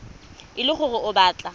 e le gore o batla